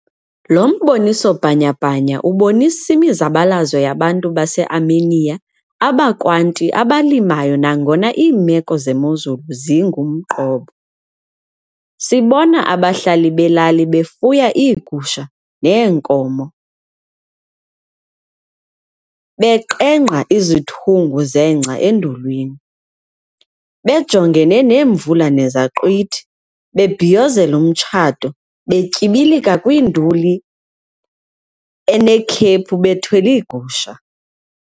Lo mboniso bhanya-bhanya ubonisa imizabalazo yabantu base-Armenia abakwanti abalimayo nangona iimeko zemozulu zingumqobo. Sibona abahlali belali befuya iigusha neenkomo, beqengqa izithungu zengca endulwini, bejongene neemvula nezaqhwithi, bebhiyozela umtshato, betyibilika kwinduli enekhephu bethwele iigusha.